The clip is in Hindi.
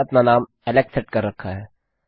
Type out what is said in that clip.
मैंने अपना नाम एलेक्स सेट कर रखा है